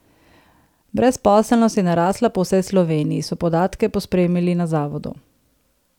Brezposelnost je narasla po vsej Sloveniji, so podatke pospremili na zavodu.